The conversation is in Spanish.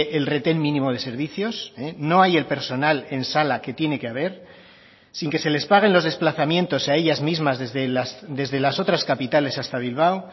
el retén mínimo de servicios no hay el personal en sala que tiene que haber sin que se les paguen los desplazamientos a ellas mismas desde las otras capitales hasta bilbao